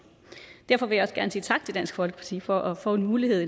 derfor vil jeg også gerne sige tak til dansk folkeparti for at få en mulighed